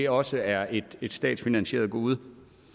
også er et statsfinansieret gode